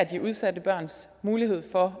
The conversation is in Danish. de udsatte børns mulighed for